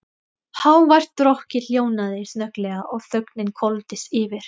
Hávært rokkið hljóðnaði snögglega og þögnin hvolfdist yfir.